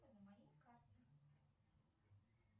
на моей карте